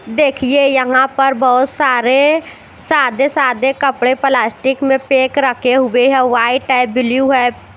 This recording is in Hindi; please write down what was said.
देख्यिये यहाँ पर बोहोत सारे सादे सादे कपडे प्लास्टिक में पैक रखे हुए है वाइट है ब्लू है।